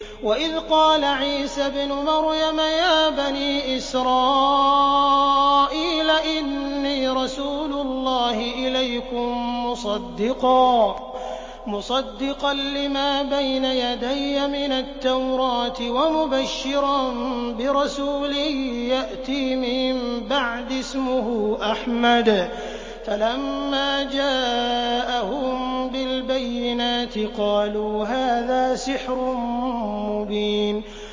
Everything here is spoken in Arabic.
وَإِذْ قَالَ عِيسَى ابْنُ مَرْيَمَ يَا بَنِي إِسْرَائِيلَ إِنِّي رَسُولُ اللَّهِ إِلَيْكُم مُّصَدِّقًا لِّمَا بَيْنَ يَدَيَّ مِنَ التَّوْرَاةِ وَمُبَشِّرًا بِرَسُولٍ يَأْتِي مِن بَعْدِي اسْمُهُ أَحْمَدُ ۖ فَلَمَّا جَاءَهُم بِالْبَيِّنَاتِ قَالُوا هَٰذَا سِحْرٌ مُّبِينٌ